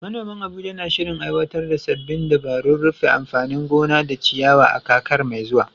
Manoman Abuja na shirin aiwatar da sabbin dabarun rufe anfanin gona da ciyawa a kakar mai zuwa.